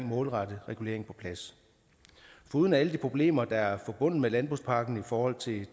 målrettet regulering på plads foruden alle de problemer der er forbundet med landbrugspakken i forhold til